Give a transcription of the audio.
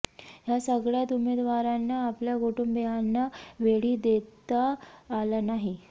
या सगळ्यात उमेदवारांना आपल्या कुटुंबीयांना वेळही देता आला नाही